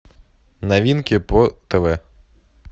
новинки по тв